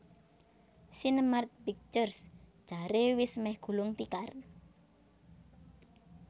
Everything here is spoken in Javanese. Sinemart Pictures jare wis meh gulung tikar